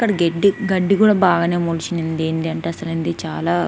ఇక్కడ గెడ్డి గడ్డి కూడా బాగానే ముల్చింది. చాలా --